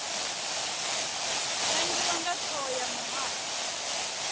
nangiwa nga thoho ya muhasho